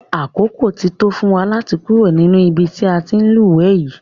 Àkókò ti tó fún wa láti kúrò nínú ibi tí a ti ń lúwẹ̀ẹ́ yìí.